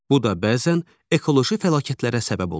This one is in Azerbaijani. Bu da bəzən ekoloji fəlakətlərə səbəb olur.